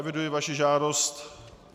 Eviduji vaši žádost.